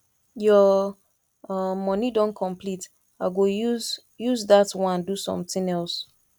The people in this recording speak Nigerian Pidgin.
your um money don complete i go use use dat wan do something else